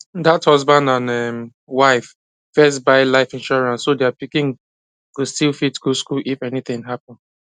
that husband and um wife first buy life insurance so their pikin go still fit go school if anything happen